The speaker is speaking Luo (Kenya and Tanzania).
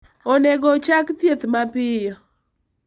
Onego ochak thieth mapiyo.